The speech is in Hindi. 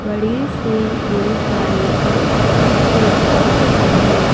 बड़े से गुरुद्वारे को देख पा रहे हैं।